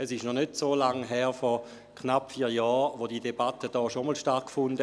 Es ist noch nicht so lange her, dass diese Debatte vor knapp vier Jahren hier bereits einmal stattfand.